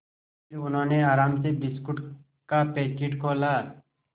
फिर उन्होंने आराम से बिस्कुट का पैकेट खोला